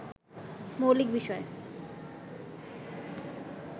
মৌলিক বিষয়